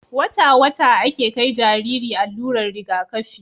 wata wata ake kai Jariri allurar Riga kafi